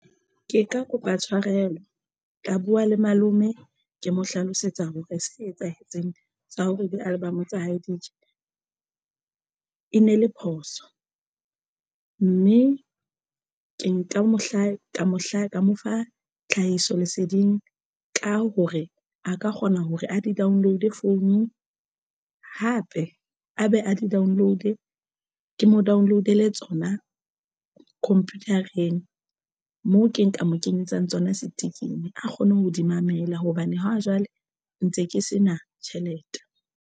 Ke ka kopa tshwarelo ka buwa le malome ke mo hlalosetsa hore se etsahetseng sa hore di-album tsa hae di tje e ne le phoso mme ke nka mo hla ka mo hla ka mo fa tlhahiso leseding ka hore a ka kgona hore a di download-e founung hape a be a di download cloud ke mo download e le tsona computer-eng moo ke nka mo kenyetsang tsona stick-in a kgone ho di mamela hobane ha jwale ntse ke se na tjhelete.